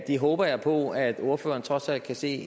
det håber jeg på at ordføreren trods alt kan se